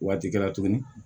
Waati kɛra tuguni